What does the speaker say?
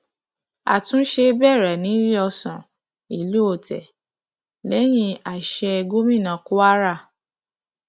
àtúnṣe bẹrẹ níléeọsán ìlú otte lẹyìn àsè gómìnà kwara